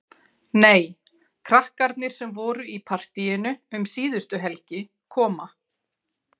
Nei, krakkarnir sem voru í partíinu um síðustu helgi koma.